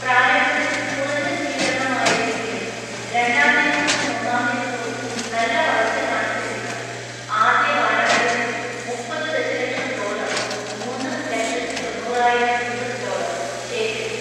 പ്രാരംഭത്തിൽ കുറഞ്ഞ സ്വീകരണമായിരുന്നെങ്കിലും രണ്ടാം ദിവസവും മൂന്നാം ദിവസവും നല്ല വളർച്ച കാണിച്ച ചിത്രം ആദ്യ വാരാന്ത്യത്തിൽ മുപ്പത് ദശലക്ഷം ഡോളർ (മൂന്ന് ലക്ഷത്തി തൊണ്ണൂറായിരം യുഎസ് ഡോളർ) ശേഖരിച്ചു.